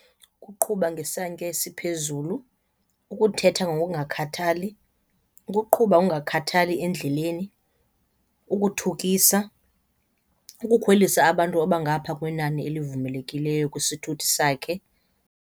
Ukuqhuba ngesantya esiphezulu, ukuthetha ngokungakhathali, ukuqhuba ngokungakhathali endleleni, ukuthukisa, ukukhwelisa abantu abangapha kwenani elivumelekileyo kwisithuthi sakhe.